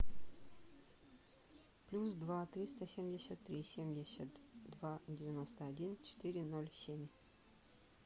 плюс два триста семьдесят три семьдесят два девяносто один четыре ноль семь